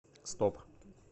стоп